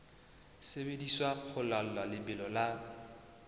sebediswa ho laola lebelo la